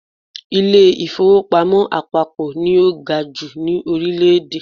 Ilé-ìfowópamọ́ àpapọ̀ ni ó ga jù ní Orílẹ̀dè